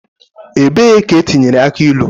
Ebee ka etinyere aki ilu?